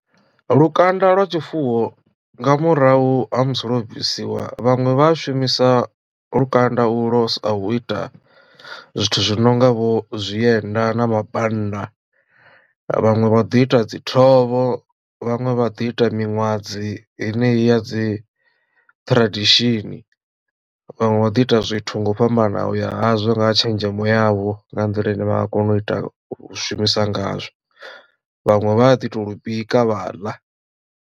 Lukanda lwa tshifuwo nga murahu ha musi lwo bvisiwa vhaṅwe vha a shumisa lukanda u lo sa u ita zwithu zwi no nga vho zwienda na mabannda vhaṅwe vha ḓi ita dzi ṱhovho vhaṅwe vha ḓi ita miṅwadzi heneyi ya dzi tradition vhanwe vha ḓI ita zwithu nga u fhambanaho ya hazwo nga tshenzhemo yavho nga nḓila ine vha nga kona u ita u shumisa ngazwo vhaṅwe vha ḓi to lu bika vha ḽa.